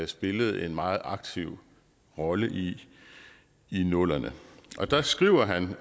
spillede en meget aktiv rolle i i nullerne og der skriver han